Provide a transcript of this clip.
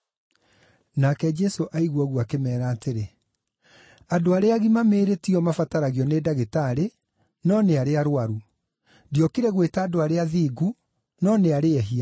Nake Jesũ aigua ũguo akĩmeera atĩrĩ, “Andũ arĩa agima mĩĩrĩ ti o mabataragio nĩ ndagĩtarĩ, no nĩ arĩa arũaru. Ndiokire gwĩta andũ arĩa athingu, no nĩ arĩa ehia.”